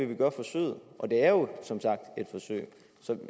vi gør forsøget og det er jo som sagt et forsøg så